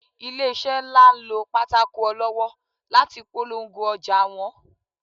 ilese nla n lọ pàtàkó olọwọ latí pọlọngó ojà wón